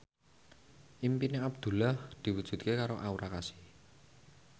impine Abdullah diwujudke karo Aura Kasih